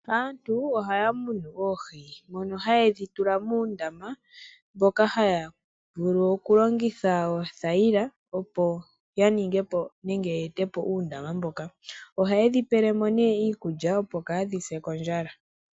Aantu ohaya munu oohi ndhono haye dhi tula muundama mboka ha yavulu oku longitha oothayila opo ya ningepo nenge yete po uundama mboka. Oha yedhi pele mo ne iikulya opo kadhi se kondjala.